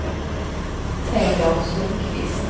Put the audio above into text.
Teodor Sundkvist